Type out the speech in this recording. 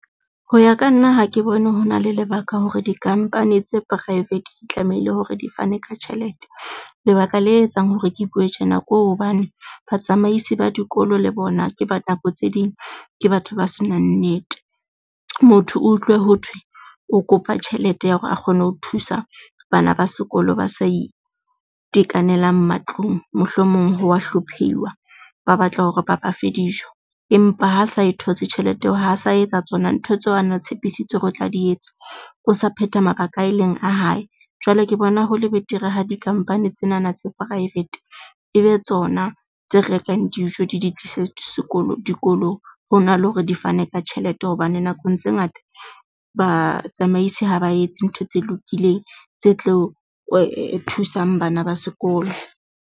Ho ya ka nna ha ke bone ho na le lebaka hore di-company tse private di tlamehile hore di fane ka tjhelete lebaka le etsang hore ke bue tjena ko hobane batsamaisi ba dikolo le bona ke ba nako tse ding, ke batho ba se nang nnete. Motho o utlwe ho thwe o kopa tjhelete ya hore a kgone ho thusa bana ba sekolo ba sa itekanelang matlung. Mohlomong o wa hlophiwa ba batla hore ba ba fe dijo empa ha sa e thotse tjhelete eo, ha sa etsa tsona ntho tseo a na tshepisitse hore o tla di etsa. O sa phetha mabaka a ileng a hae jwale ke bona hole betere ha di-company tsenana tsa private e be tsona tse rekang dijo di di tlise sekolo dikolong, hona le hore di fane ka tjhelete hobane nakong tse ngata batsamaisi ha ba etse ntho tse lokileng tse tlo thusang bana ba sekolo.